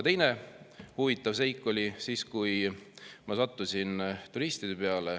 Teine huvitav seik oli siis, kui ma sattusin turistide peale.